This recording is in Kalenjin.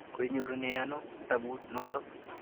Koinyorune ano kitaput notok?